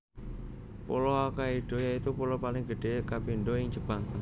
Pulo Hokkaido yaitu pulo paling gedhé kapindho ing Jepang